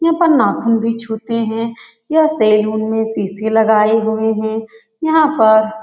यहाँ पर नाख़ून भी छूते है यह सैलून में शीशे लगाए हुए हैं यहाँ पर --